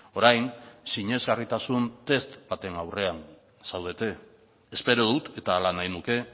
orain sinesgarritasun test baten aurrean zaudete espero dut eta hala nahi nuke